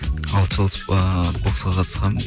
алты жыл ыыы боксқа қатысқанымын